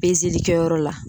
kɛyɔrɔ la